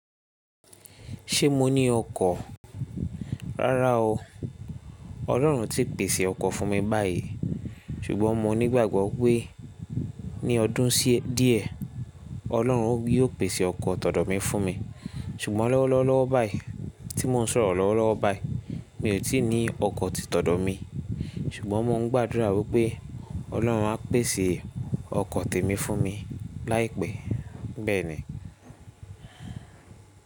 Ṣé mo ní ọkọ̀? Rárá o. Ọlọ́run o ti pèsè ọkọ̀ fún mi báyìí, ṣùgbọ́n mo nígbàgbọ́ wípé ní ọdún díẹ̀, Ọlọ́run yóò pèsè ọkọ̀ tọ̀dọ̀ mi fún mi. Ṣùgbọ́n lọ́wọ́lọ́wọ́lowo báyìí tí mò ń sọ̀rọ̀ lọ́wọ́lọ́wọ́ báyìí mi ò tí ì ní ọkọ̀ ti tọ̀dọ̀ mi, ṣùgbọ́n mò ń gbàdúrà wípé Ọlọ́run áa pèsè ọkọ̀ tèmi fún mi láìpẹ́. Bẹ́ẹ̀ ni.